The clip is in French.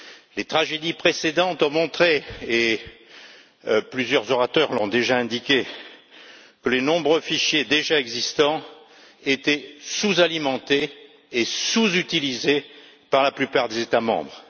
les tragédies précédentes ont montré, comme plusieurs orateurs l'ont déjà souligné, que les nombreux fichiers déjà existants étaient sous alimentés et sous utilisés par la plupart des États membres.